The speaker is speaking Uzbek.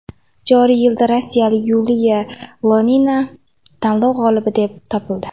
Joriy yilda rossiyalik Yuliya Ionina tanlov g‘olibi deb topildi.